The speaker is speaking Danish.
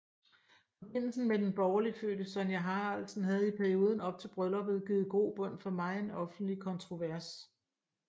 Forbindelsen med den borgerligt fødte Sonja Haraldsen havde i perioden op til brylluppet givet grobund for megen offentlig kontrovers